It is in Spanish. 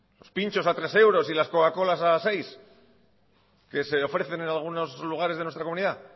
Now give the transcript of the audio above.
los pintxos a tres euros y las coca colas a seis que se ofrecen en algunos lugares de nuestra comunidad